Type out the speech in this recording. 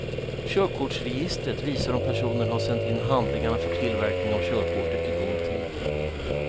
Körkortsregistret visar om personen har sänt in handlingarna för tillverkning av körkortet i god tid.